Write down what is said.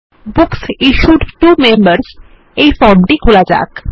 books issued to members এই ফর্মটি খোলা যাক